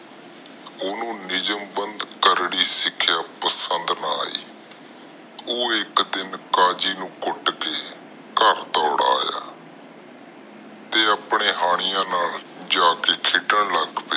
ਊਜਮ ਬੰਦ ਸਿਖਿਆ ਪਸੰਦ ਨਾ ਆਈ ਓ ਇਕ ਦਿਨ ਕਾਜੀ ਨੂੰ ਕੁੱਟ ਕੇ ਘਰ ਦੌੜ ਆਯਾ ਤੇ ਆਪਣੇ ਹਾਣੀਆਂ ਨਾਲ ਜਾ ਕੇ ਖੇਡਣ ਲੱਗ ਪਿਆ।